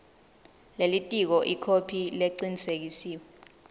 lelitiko ikhophi lecinisekisiwe